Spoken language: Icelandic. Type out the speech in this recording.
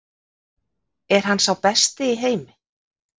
Er hann sá besti í heimi?